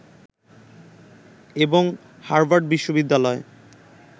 এবং হাভার্ড বিশ্ববিদ্যালয়ের